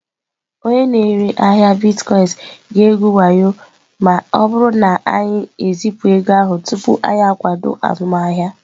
Onye na-ere ahịa Bitkoinsị ga-egwu wayo anyị ma ọ bụrụ na anyị ezipụ ego ahụ tupu anyị akwado azụmahịa.